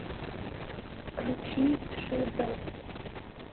включи ши бэд